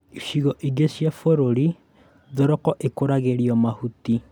Icigo ingĩ cia bũrũri thoroko ikũragĩrio mahuti